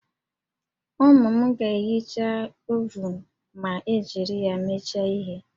Ụmụ m ga-ehicha ovunu ma e jiri ya mecha ihe